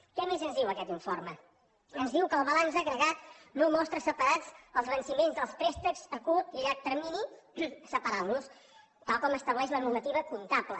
què més ens diu aquest informe ens diu que el balanç agregat no mostra separats els venciments dels préstecs a curt i a llarg termini separant los tal com estableix la normativa comptable